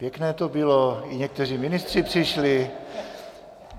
Pěkné to bylo, i někteří ministři přišli.